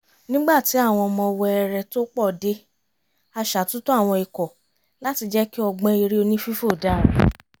nígbà tí àwọn ọmọ wẹẹrẹẹ tó pọ̀ dé a ṣàtúntò àwọn ikọ̀ láti jẹ́ kí ọgbọ́n eré oní-fífò dára